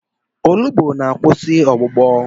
Olugbu na-akwụsị ọgbụgbọ.